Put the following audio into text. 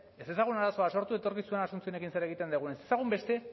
ez dezagun arazo bat sortu etorkizunean asunciónekin zer egiten dugun ez dezagun beste